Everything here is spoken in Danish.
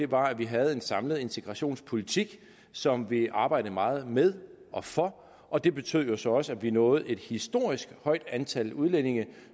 var at vi havde en samlet integrationspolitik som vi arbejdede meget med og for og det betød jo så også at vi nåede et historisk højt antal udlændinge